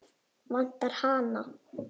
Vantar hana?